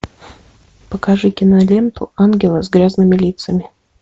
покажи киноленту ангелы с грязными лицами